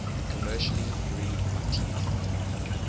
commercially breed artemia